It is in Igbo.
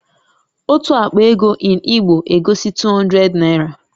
Otu àkpà égo in Igbo egosi 200 naira